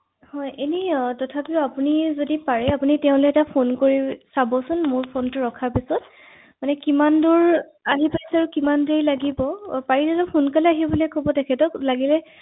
হয় হয় নিশ্চয়কৈ